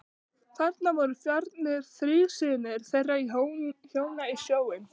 Þarna voru farnir þrír synir þeirra hjóna í sjóinn.